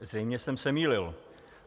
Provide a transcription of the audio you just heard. Zřejmě jsem se mýlil.